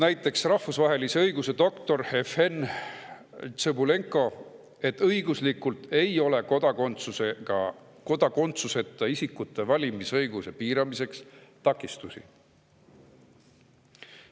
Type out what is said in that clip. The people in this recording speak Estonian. Näiteks rahvusvahelise õiguse doktor Jevhen Tsõbulenko on öelnud, et õiguslikult ei ole kodakondsuseta isikute valimisõiguse piiramisele takistusi.